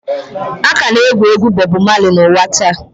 A ka na-egwu egwu Bobu Mali n'ụwa taa.